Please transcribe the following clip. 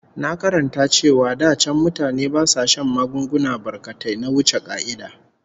Na karanta cewa da can mutane ba sa shan magunguna barkatai na wuce ƙa'ida